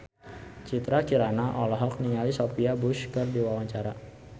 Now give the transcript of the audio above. Citra Kirana olohok ningali Sophia Bush keur diwawancara